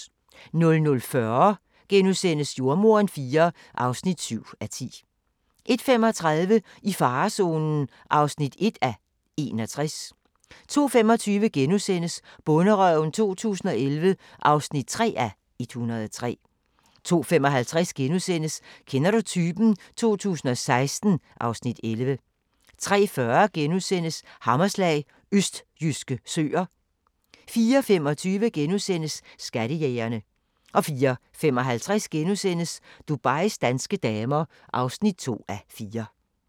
00:40: Jordemoderen IV (7:10)* 01:35: I farezonen (1:61) 02:25: Bonderøven 2011 (3:103)* 02:55: Kender du typen? 2016 (Afs. 11)* 03:40: Hammerslag – østjyske søer * 04:25: Skattejægerne * 04:55: Dubais danske damer (2:4)*